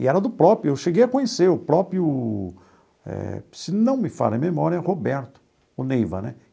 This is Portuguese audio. E era do próprio, eu cheguei a conhecer o próprio, eh se não me falha a memória, Roberto, o Neiva, né?